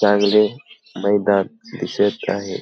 चांगले मैदान दिसत आहे.